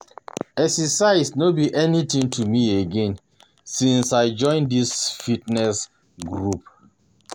Exercise no be anything to me, again since I join dis fitness group